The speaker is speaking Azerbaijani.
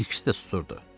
İkisi də susurdu.